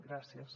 gràcies